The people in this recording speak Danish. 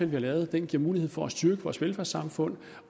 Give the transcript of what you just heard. vi har lavet giver mulighed for at styrke vores velfærdssamfund